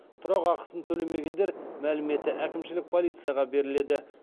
тұрақ ақысын төлемегендер мәліметі әкімшілік полицияға беріледі